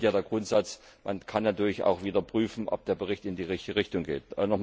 Im Übrigen gilt der Grundsatz Man kann natürlich auch wieder prüfen, ob der Bericht in die richtige Richtung geht.